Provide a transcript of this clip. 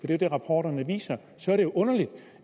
det er det rapporterne viser er det underligt